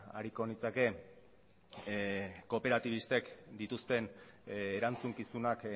ariko nitzake kooperatibistek dituzten erantzukizunak